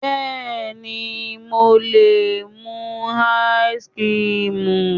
Bẹ́ẹ̀ni mo lè mú ice cream